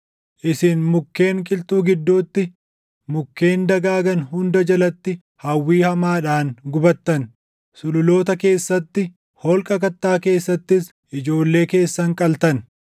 Isin mukkeen qilxuu gidduutti, mukkeen dagaagan hunda jalatti hawwii hamaadhaan gubattan; sululoota keessatti, holqa kattaa keessattis ijoollee keessan qaltan.